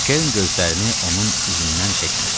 Kern gözlərini onun üzündən çəkmirdi.